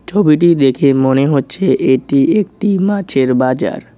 ছবিটি দেখে মনে হচ্ছে এটি একটি মাছের বাজার।